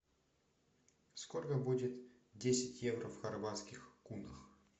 сколько будет десять евро в хорватских кунах